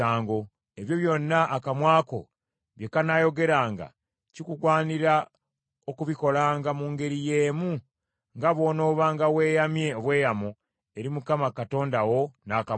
Ebyo byonna akamwa ko bye kanaayogeranga kikugwanira okubikolanga, mu ngeri y’emu nga bw’onoobanga weeyamye obweyamo eri Mukama Katonda wo n’akamwa ko.